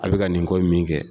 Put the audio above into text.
A bɛ ka nin ko in min kɛ